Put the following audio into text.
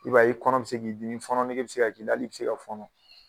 I b'a ye i kɔnɔ bɛ k'i dimi fɔnɔ nege bɛ se ka k'i la hali i se ka fɔnɔ